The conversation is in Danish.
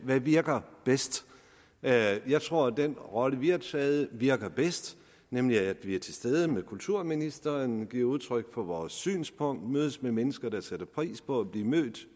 hvad virker bedst jeg jeg tror at den rolle vi har taget virker bedst nemlig at vi er til stede ved kulturministeren giver udtryk for vores synspunkt og mødes med mennesker der sætter pris på at blive mødt